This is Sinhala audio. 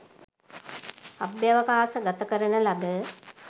අභ්‍යාවකාශ ගතකරන ලද